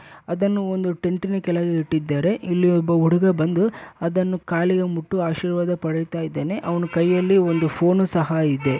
ಅದನ್ನು ಒಂದು ಟೆಂಟಿ ನ ಕೆಳಗೆ ಇಟ್ಟಿದ್ದಾರೆ ಇಲ್ಲಿ ಒಬ್ಬ ಹುಡುಗ ಬಂದು ಅದನ್ನು ಕಾಲಿಗೆ ಮುಟ್ಟು ಆಶೀರ್ವಾದ ಪಡೆಯುತ್ತ ಇದ್ದಾನೆ ಅವನ ಕೈಯಲ್ಲಿ ಒಂದು ಫೋನು ಸಹ ಇದೆ.